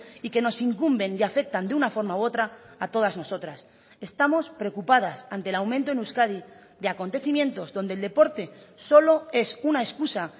y que nos incumben y afectan de una forma u otra a todas nosotras estamos preocupadas ante el aumento en euskadi de acontecimientos donde el deporte solo es una excusa